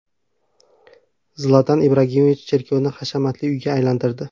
Zlatan Ibragimovich cherkovni hashamatli uyga aylantirdi.